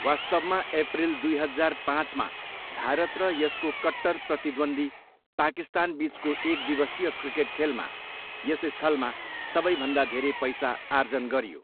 वास्तवमा, एप्रिल दुई हजार पाँचमा भारत र यसको कट्टर प्रतिद्वन्द्वी पाकिस्तानबिचको एकदिवसीय क्रिकेट खेलमा यस स्थलमा सबैभन्दा धेरै पैसा आर्जन गरियो।